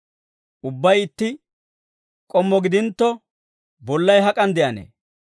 Ubbay itti k'ommo gidintto, bollay hak'an de'anee?